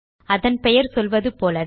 அதன் பெயர் சொல்வது போலவே